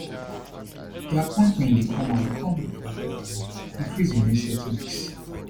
di appointment dey come as di conflict for lebanon increase in recent weeks